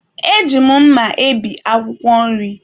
Eji m mma ebi akwụkwọ nri.